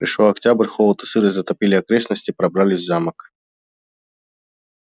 пришёл октябрь холод и сырость затопили окрестности пробрались в замок